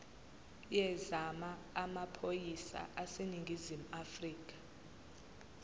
yezamaphoyisa aseningizimu afrika